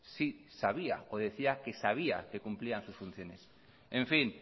sí sabía o decía que sabía que cumplían sus funciones en fin